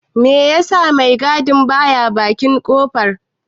Me ya sa mai gadi ba ya bakin kofar?